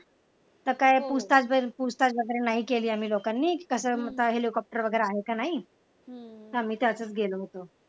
तर काही वगैरे वगैरे नाही केली आम्ही लोकांनी कस हेलिकॉप्टर वगैरे आहे का नाही आम्ही तसेच गेलो होतो.